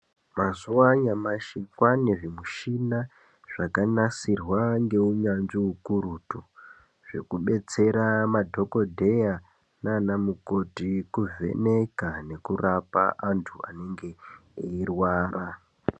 Mazuwa anyamashi kwaane zvimishina zvakanasirwa ngeunyanzvi ukurutu zvekubetsera madhokodheya nanamukoti kuvheneka nekurapa antu anonga eirwara.